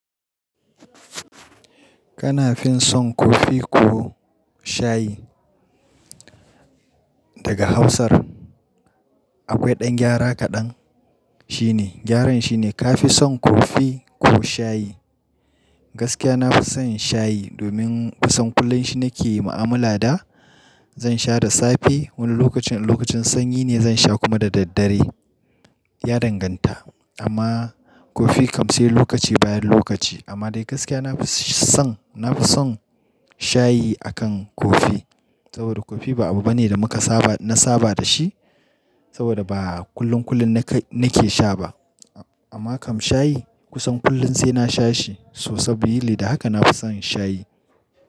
Kana fin son kofi ko shayi? Daga Hausar akwai ɗan gyara kaɗan? Shine, gyaran shine ka fi son kofi ko shayi? Gaskiya na fi son shayi domin kusan kullum shi nake yi ma'amala da. Zan sha da safe, wani lokacin, in lokacin sanyi ne zan sha kuma da daddare. Ya danganta, amma kofi kam sai lokaci bayan lokaci. Amma dai gaskiya na fi son, na fi son shayi akan kofi. Saboda kofi ba abu bane da muka saba, na saba da shi. Saboda ba kullun kullum nake sha ba. Amma kam shayi kusan kullum sai na sha shi. So sabili da haka na fi son shayi.